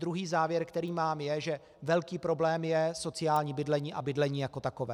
Druhý závěr, který mám, je, že velký problém je sociální bydlení a bydlení jako takové.